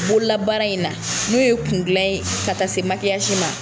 Bolola baara in na. N'o ye kun gilan ye ka ta se ma.